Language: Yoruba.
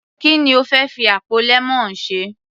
Ki ni o fẹ́ fi àpò lemon ṣe.